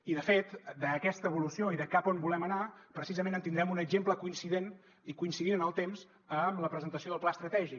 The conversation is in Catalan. i de fet d’aquesta evolució i de cap a on volem anar precisament en tindrem un exemple coincident i coincidint en el temps amb la presentació del pla estratègic